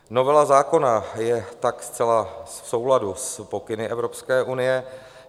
Novela zákona je tak zcela v souladu s pokyny Evropské unie.